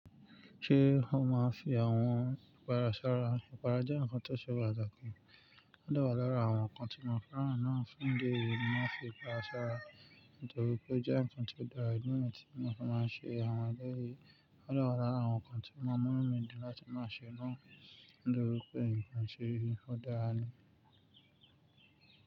Ṣé ó máa fi àwọn ìpara sára? Ìpara jẹ́ nǹkan tó ṣe pàtàkì. Ó dà wó lára àwọn nǹkan tí màkírà náà fún ìdí èyí ni wọ́n fi ń para sára. Nítorí pé ó jẹ́ nǹkan tó dára nínú ètò tí àwọn ọkọ máa ń ṣe àwọn ọdẹ yìí. Ó dà wó lára àwọn nǹkan tí mo mú mí di láti máa ṣe náà. Nítorí pé nǹkan ṣe rí, ó dára ni.